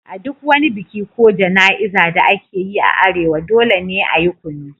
A duk wani biki ko jana'izar da ake yi a arewa, dole ne a yi kunu.